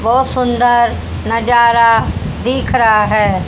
बहोत सुंदर नजारा दिख रहा है।